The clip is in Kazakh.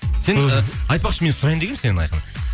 сен і айтпақшы мен сұрайын дегенмін сенен айқын